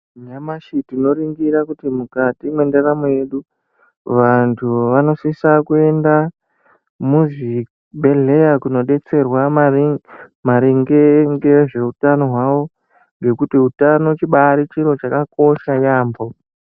Nyamashi tino ningira kuti mukati mwe ndaramo yedu vantu vanosisa kuenda mu zvibhedhleya kuno detserwa maringe ngezve utano hwawo ngekuti utano chibairi chiro chaka kosha yambo.